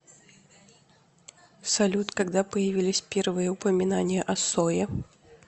салют когда появились первые упоминания о сое